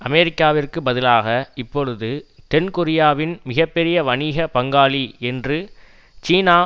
அமெரிக்காவிற்கு பதிலாக இப்பொழுது தென்கொரியாவின் மிக பெரிய வணிக பங்காளி என்று சீனா